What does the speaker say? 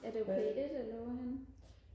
er det P1 eller hvorhenne